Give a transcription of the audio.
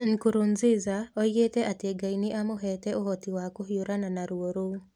Nkurunziza oigaga atĩ Ngai nĩ amuheete "ũhoti wa kũhiũrania na ruo rũu".